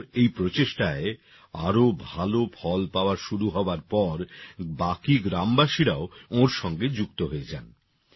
ওঁর এই প্রচেষ্টায় আরও ভাল ফল পাওয়া শুরু হওয়ার পর বাকি গ্রামবাসীরাও ওঁর সঙ্গে যুক্ত হয়ে যান